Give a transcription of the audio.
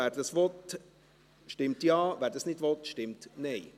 Wer dies will, stimmt Ja, wer dies nicht will, stimmt Nein.